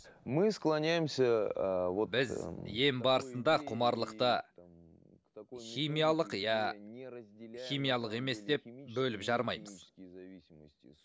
мы склонямся ыыы біз ем барысында құмарлықты химиялық немесе химиялық емес деп бөліп жармаймыз